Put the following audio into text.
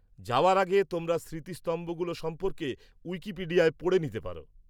-যাওয়ার আগে তোমরা স্মৃতিস্তম্ভগুলো সম্পর্কে উইকিপিডিয়ায় পড়ে নিতে পারো।